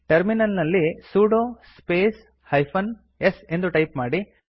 terminal ನಲ್ಲಿ sudo space hyphen s ಎಂದು type ಮಾಡಿ